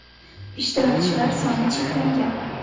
Ishtirokchilar soni cheklangan.